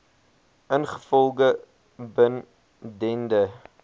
ingevolge bin dende